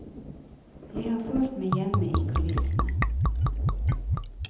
Jeg har følt meg hjemme i kulissene.